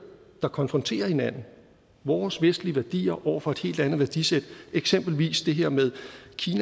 der konfronterer hinanden vores vestlige værdier over for et helt andet værdisæt eksempelvis det her med